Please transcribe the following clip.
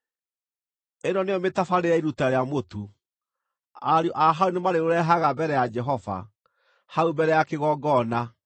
“ ‘Ĩno nĩyo mĩtabarĩre ya iruta rĩa mũtu: Ariũ a Harũni nĩmarĩũrehaga mbere ya Jehova, hau mbere ya kĩgongona.